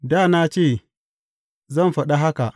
Da na ce, Zan faɗa haka,